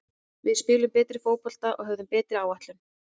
Við spiluðum betri fótbolta og höfðum betri áætlun.